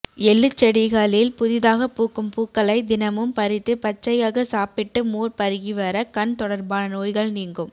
எள்ளுச்செடிகளில் புதிதாக பூக்கும் பூக்களை தினமும் பறித்து பச்சையாக சாப்பிட்டு மோர் பருகிவர கண் தொடர்பான நோய்கள் நீங்கும்